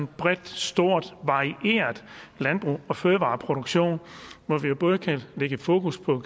bredt stort varieret landbrug og fødevareproduktion hvor vi både kan lægge et fokus på